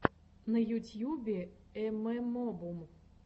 на ютьюбе эмэмобум